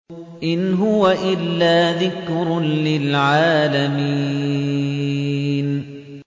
إِنْ هُوَ إِلَّا ذِكْرٌ لِّلْعَالَمِينَ